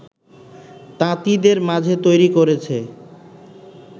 তাঁতিদের মাঝে তৈরি করেছে